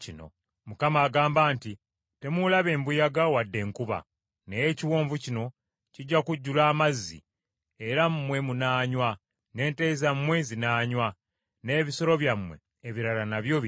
Mukama agamba nti, ‘Temuulabe mbuyaga wadde enkuba, naye ekiwonvu kino kijja kujjula amazzi, era mmwe munaanywa, n’ente zammwe zinaanywa, n’ebisolo byammwe ebirala nabyo binywe.